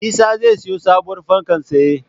Isa zai siyo sabuwar fanka tsaye